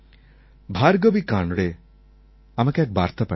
ভার্গবী কান্ড়ে আমাকে এক বার্তা পাঠিয়েছেন